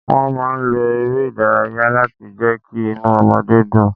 Wọ́n máa ń lo ère ìdárayá láti jẹ kí inú ọmọdé dùn.